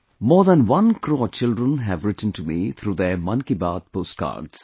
More than one crore children have written to me through their 'Mann Ki Baat' post cards